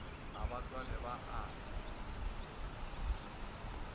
ga ba tswale ba ate